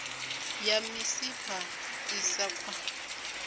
ya misipha i sa khwa